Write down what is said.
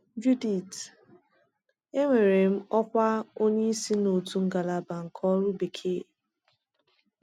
Judith: Enwere m ọkwa onye isi n’otu ngalaba nke ọrụ bekee.